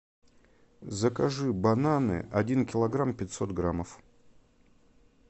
закажи бананы один килограмм пятьсот граммов